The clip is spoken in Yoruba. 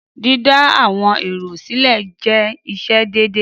Dídá àwọn èrò sílẹ̀ jẹ́ iṣẹ́ déédéé.